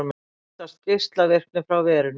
Óttast geislavirkni frá verinu